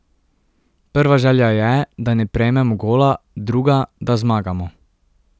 Prva želja je, da ne prejmemo gola, druga, da zmagamo.